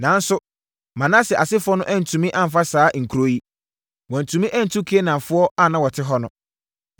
Nanso, Manase asefoɔ no antumi amfa saa nkuro yi. Wɔantumi antu Kanaanfoɔ a na wɔte hɔ no.